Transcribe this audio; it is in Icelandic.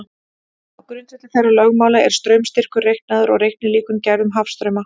Á grundvelli þeirra lögmála er straumstyrkur reiknaður og reiknilíkön gerð um hafstrauma.